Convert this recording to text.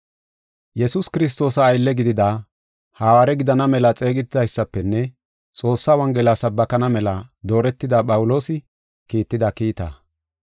Yesuus Kiristoosa aylle gidida, hawaare gidana mela xeegetidaysafenne Xoossaa Wongela sabbakana mela dooretida Phawuloosi kiitida kiitaa.